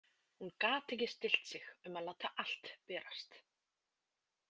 Hún gat ekki stillt sig um að láta allt berast.